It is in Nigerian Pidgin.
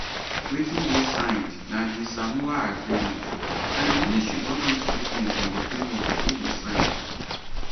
wetin dey signed na di samoa agreement and di ministry don make statement on di framework wey dey signed